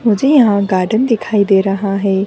मुझे यहाँ गार्डन दिखाई दे रहा है।